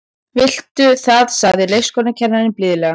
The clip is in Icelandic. Viltu það sagði leikskólakennarinn blíðlega.